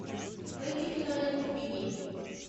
найти киноленту беги